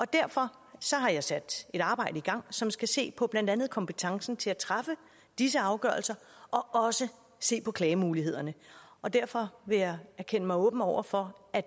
derfor har jeg sat et arbejde i gang som skal se på blandt andet kompetencen til at træffe disse afgørelser og også se på klagemulighederne og derfor vil jeg erklære mig åben over for at